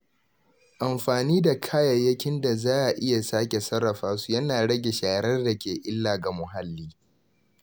Amfani da kayayyakin da za a iya sake sarrafa su yana rage sharar da ke illa ga muhalli.